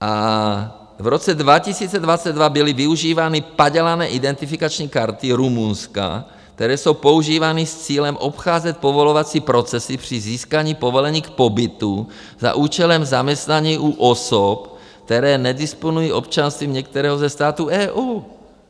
A v roce 2022 byly využívány padělané identifikační karty Rumunska, které jsou používány s cílem obcházet povolovací procesy při získání povolení k pobytu za účelem zaměstnání u osob, které nedisponují občanstvím některého ze států EU.